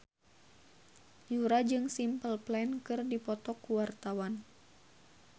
Yura jeung Simple Plan keur dipoto ku wartawan